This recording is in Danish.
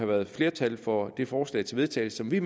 været flertal for det forslag til vedtagelse som vi